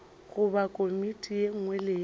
goba komiti ye nngwe le